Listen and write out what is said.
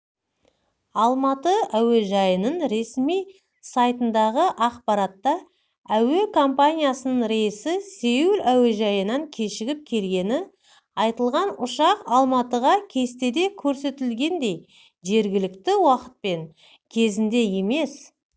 алматы әуежайының ресми сайтындағы ақпаратта әуе компаниясының рейсі сеул әуежайынан кешігіп келгені айтылған ұшақ алматыға кестеде көрсетілгендей жергілікті уақытпен кезінде емес